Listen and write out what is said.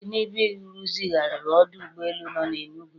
Tinubu rụzigharị ọdụ ụgbọ elu nọ na Enugu